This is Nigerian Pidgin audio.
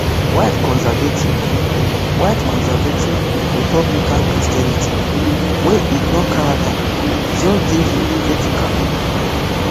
white conservative white conservative republican christianity wey ignore character just dey hypocritical